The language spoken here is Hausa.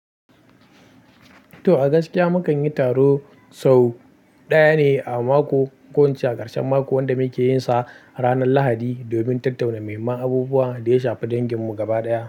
To, a gaskiya mu kan yi taro sau ɗaya ne a mako, ƙo in ce a ƙarshen mako wanda mu ke yinsa ranar Lahadi domin tattauna mahimman abubuwa da ya shafi danginmu gaba ɗaya.